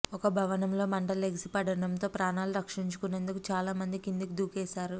ఒక భవనంలో మంటలు ఎగసిపడటంతో ప్రాణాలు రక్షించుకొనేందుకు చాలా మంది కిందికి దూకేశారు